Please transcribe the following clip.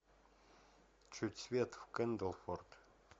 чуть свет в кэндлфорд